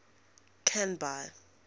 canby